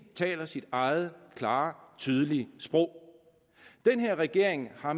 taler sit eget klare og tydelige sprog den her regering har